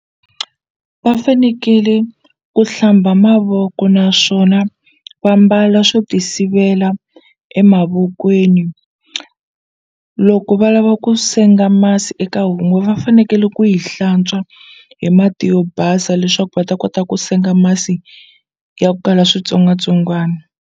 Va fanekele ku hlamba mavoko naswona va mbala swo ti sivela emavokweni loko va lava ku senga masi eka homu va fanekele ku yi hlantswa hi mati yo basa leswaku va ta kota ku senga masi yo kala switsongwatsongwana.